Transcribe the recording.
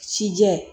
Cijɛ